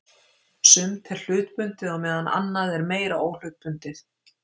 Sumt er hlutbundið á meðan annað er meira óhlutbundið.